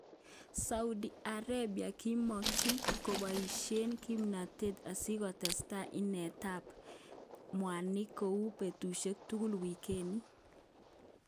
Saudi Arabia kimongin koboishen kipnotet asikotestai inet tab mwanik kou betushek tugul weekini.